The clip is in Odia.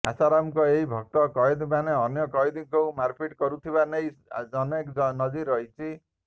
ଆଶାରାମଙ୍କ ଏହି ଭକ୍ତ କଏଦୀମାନେ ଅନ୍ୟ କଏଦୀଙ୍କୁ ମାରପିଟ୍ କରୁଥିବା ନେଇ ଅନେକ ନଜିର ରହିଛି